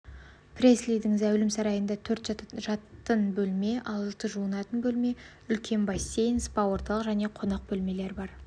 преслидің зәулім сарайында төрт жатын бөлме алты жуынатын бөлме үлкен бассейн спа-орталық және қонақ бөлмелер бар